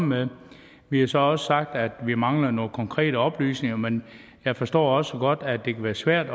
med vi har så også sagt at vi mangler nogle konkrete oplysninger men jeg forstår også godt at det kan være svært